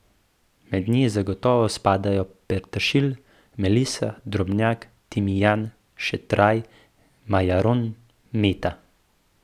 Mednje zagotovo spadajo peteršilj, melisa, drobnjak, timijan, šetraj, majaron, meta.